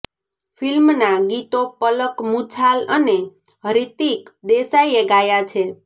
ફિલ્મના ગીતો પલક મુછાલ અને હૃતિક દેસાઈએ ગાયા છે